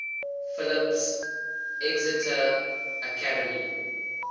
phillips exeter academy